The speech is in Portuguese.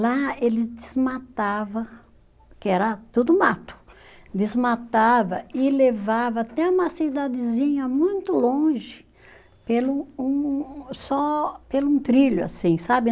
Lá eles desmatava, que era tudo mato, desmatava e levava até uma cidadezinha muito longe, pelo um, só pelo um trilho, assim, sabe?